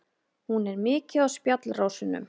Hún er mikið á spjallrásunum.